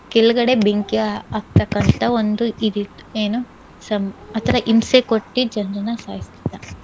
ಕೆಳ್ಗಡೆ ಬೆಂಕಿ ಹಾಕ್ತಕ್ಕಂತಹ ಒಂದು ಇದ್ ಇತ್ತು ಏನು ಸಂ ~ ಆ ತರ ಹಿಂಸೆ ಕೊಟ್ಟಿ ಜನನ್ನ ಸಾಯ್ಸ್ತಿದ್ದ.